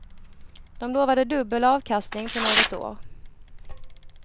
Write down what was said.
De lovade dubbel avkastning på något år.